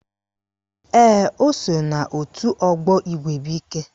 Ee, o so n'òtù ọgbọ Igwebuike